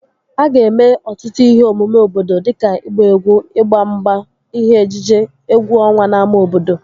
A ga-eme ọtụtụ ihe omume obodo dịka ịgba egwu, ịgba mgba, ihe ejije, egwu ọnwa n'ámá obodo